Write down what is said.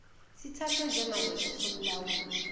sithathwe njengaleso somlawuli